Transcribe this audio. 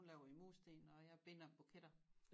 Hun laver i mursten og jeg binder buketter